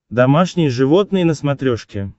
домашние животные на смотрешке